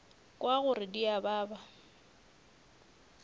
kwa gore di a baba